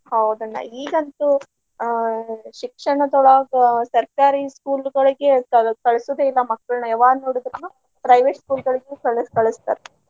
ಹೌದ ಅಣ್ಣಾ ಈಗಂತೂ ಆಹ್ ಶಿಕ್ಷಣದೊಳಗ ಸರ್ಕಾರಿ school ಗಳಿಗೆ ಕಳ~ ಕಳ್ಸುದೆ ಇಲ್ಲಾ ಮಕ್ಕಳ್ನ ಯಾವಾಗ ನೋಡಿದ್ರು private school ಗಳಿಗೆ ಕಳ~ ಕಳಸ್ತಾರ.